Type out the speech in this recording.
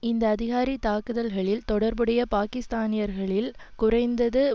இந்த அதிகாரி தாக்குதல்களில் தொடர்புடைய பாக்கிஸ்தானியர்களில் குறைந்தது